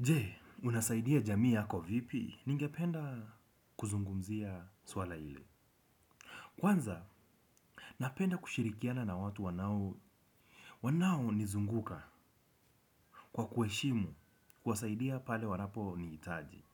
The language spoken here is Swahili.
Je, unasaidia jamii yako vipi? Ningependa kuzungumzia swala ile. Kwanza, napenda kushirikiana na watu wanao. Wanao nizunguka kwa kueshimu kuwasaidia pale wanapo niitaji.